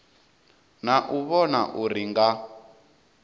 na u vhona uri nga